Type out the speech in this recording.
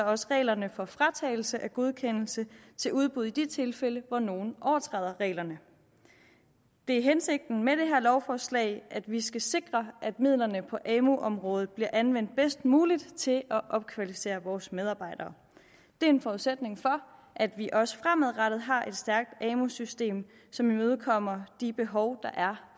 også reglerne for fratagelse af godkendelse til udbud i de tilfælde hvor nogle overtræder reglerne det er hensigten med det her lovforslag at vi skal sikre at midlerne på amu området bliver anvendt bedst muligt til at opkvalificere vores medarbejdere det er en forudsætning for at vi også fremadrettet har et stærkt amu system som imødekommer de behov der er